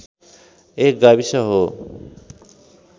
एक गाविस हो